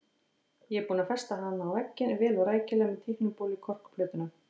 Ég er búinn að festa hana á vegginn, vel og rækilega með teiknibólu í korkplötuna.